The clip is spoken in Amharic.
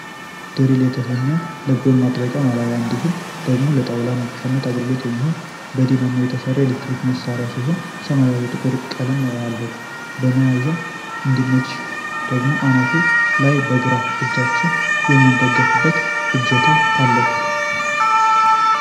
ድሪል የተሰኘ ለብሎን ማጥበቂና ማላያ እንዲሁም ደግሞ ለጣውላ መብሻነት አገልግሎት የሚሆን በዲናሞ የሚሰራ የኤሌክትሮኒክስ መሣሪያ ሲሆን። ሰማያዊና ጥቁር ቀለም አለው። ለመያዝ እንዲመች ደግሞ ከአናቱ ላይ በግራ እጃችን የምንደገፍበት እጀታ አለው።